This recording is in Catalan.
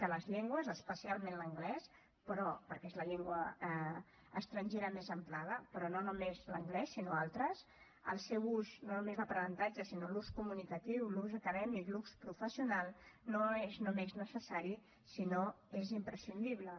de les llengües especialment l’anglès perquè és la llengua estrangera més emprada però no només l’anglès sinó altres el seu ús no només l’aprenentatge sinó l’ús comunicatiu l’ús acadèmic l’ús professional no és només necessari sinó que és imprescindible